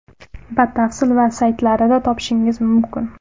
Batafsil - va saytlarida topishingiz mumkin.